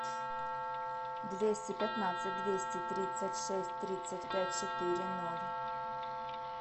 двести пятнадцать двести тридцать шесть тридцать пять четыре ноль